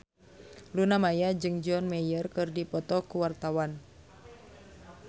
Luna Maya jeung John Mayer keur dipoto ku wartawan